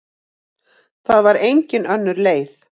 Það var engin önnur leið.